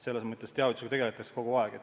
Teavitusega tegeldakse kogu aeg.